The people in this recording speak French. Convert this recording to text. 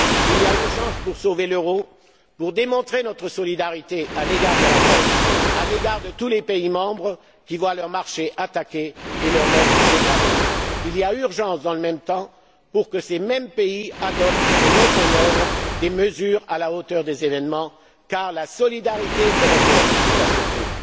Il y a urgence à sauver l'euro, à démontrer notre solidarité à l'égard de la Grèce et à l'égard de tous les pays membres qui voient leurs marchés attaqués et leur note dégradée. Il est urgent dans le même temps que ces mêmes pays adoptent et mettent en œuvre des mesures à la hauteur des événements, car la solidarité européenne est à ce